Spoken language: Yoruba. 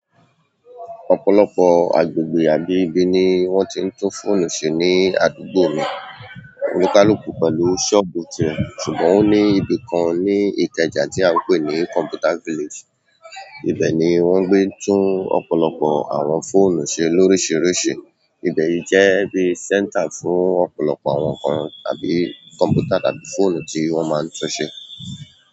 Ọ̀pọ̀lọpọ̀ agbègbè àbí ibi ni wọ́n ti ń tún fóònù ṣe ní àdúgbò mi. Olúkálùkù pẹ̀lú sọ́ọ̀bù tìrẹ, ṣùgbọ́n ó ní ibi kan ní Ìkẹjà tí a ń pè ní Computer Village. Ibẹ̀ ni wọ́n gbé tún ọ̀pọ̀lọpọ̀ àwọn fóònù ṣe lóríṣiríṣi. Ibẹ̀ yí jẹ́ bí center fún ọ̀pọ̀lọpọ̀ àwọn ǹkan tàbí kọ̀m̀pútà tàbí fóònù tí wọ́n máa ń tún ṣe.